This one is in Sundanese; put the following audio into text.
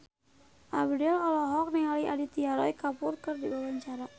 Abdel olohok ningali Aditya Roy Kapoor keur diwawancara